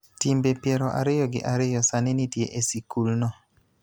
Timbe piero ariyo gi ariyo sani nitie e sikulno,